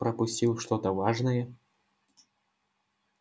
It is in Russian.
пропустил что-то важное